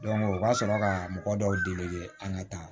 u ka sɔrɔ ka mɔgɔ dɔw deli an ka taa